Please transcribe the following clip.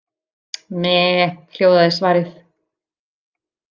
Meee, hljóðaði svarið.